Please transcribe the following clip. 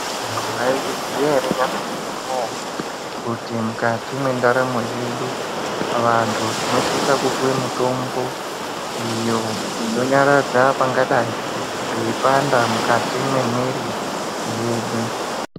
Mwaizviziya ere vantu kuti mukati mwendaramo yedu vantu tinosisa kupuwe mitombo iyo inonyaradza pangadai peipanda mukati mwemwiri yedu.